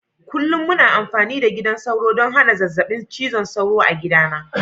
Kullum muna amfani da gidan sauro ɗon hana zazzabin cizon sauro a gidana.